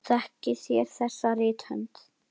Þekkið þér þessa rithönd?